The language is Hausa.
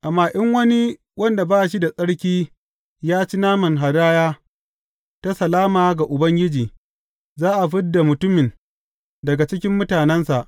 Amma in wani wanda ba shi da tsarki ya ci naman hadaya ta salama ga Ubangiji, za a fid da mutumin daga cikin mutanensa.